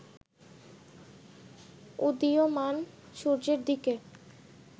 উদীয়মান সূর্যের দিকে